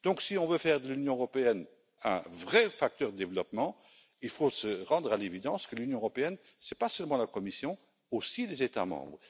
Si on veut faire de l'Union européenne un vrai facteur de développement, il faut se rendre à l'évidence que l'Union européenne, ce n'est pas seulement la Commission mais également les États membres.